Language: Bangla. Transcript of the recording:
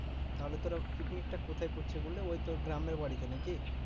তাহলে তোরা পিকনিক টা কোথায় করছিস বলে ওই তোর গ্রামের বাড়িতে নাকি?